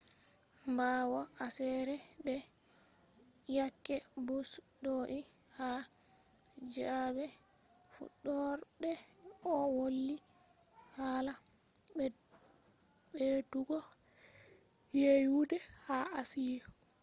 ɓawo aseere be yake bush do’i ha zaaɓe fuɗɗorde o woli hala ɓeddugo yeeyude ha asiya